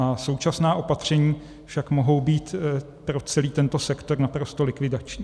A současná opatření však mohou být pro celý tento sektor naprosto likvidační.